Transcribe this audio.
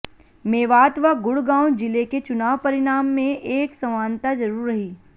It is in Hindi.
मेवात व गुड़गांव जिले के चुनाव परिणाम में एक समानता जरूर रही